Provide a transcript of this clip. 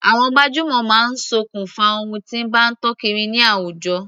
Àwọn gbajúmọ̀ máa sokùn fa ohun tí bá tàn kiri ní àwùjọ.